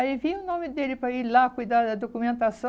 Aí vinha o nome dele para ir lá cuidar da documentação.